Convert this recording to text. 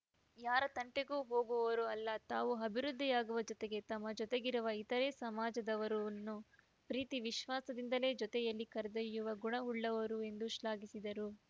ಯಾರ ತಂಟೆಗೂ ಹೋಗುವವರೂ ಅಲ್ಲ ತಾವು ಅಭಿವೃದ್ಧಿಯಾಗುವ ಜೊತೆಗೆ ತಮ್ಮ ಜೊತೆಗಿರುವ ಇತರೆ ಸಮಾಜದವರನ್ನೂ ಪ್ರೀತಿ ವಿಶ್ವಾಸದಿಂದಲೇ ಜೊತೆಯಲ್ಲಿ ಕರೆದೊಯ್ಯುವ ಗುಣವುಳ್ಳವರು ಎಂದು ಶ್ಲಾಘಿಸಿದರು